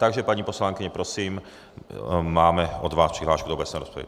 Takže paní poslankyně, prosím, máme od vás přihlášku do obecné rozpravy.